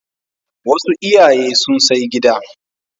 Wasu iyaye sun sai gida.